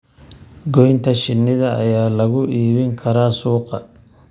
Goynta shinnida ayaa lagu iibin karaa suuqa.